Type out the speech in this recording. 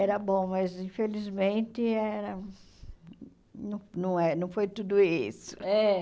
Era bom, mas, infelizmente, era não não é não foi tudo isso. É?